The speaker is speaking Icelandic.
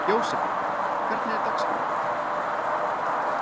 Jósefín, hvernig er dagskráin?